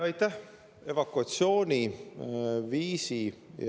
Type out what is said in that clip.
Aitäh!